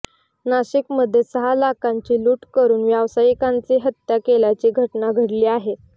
नाशिकमध्ये सहा लाखांची लूट करून व्यावसायिकाची हत्या केल्याची घटना घडली आहे